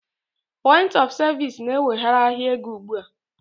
Point of Service is now taking over the financial market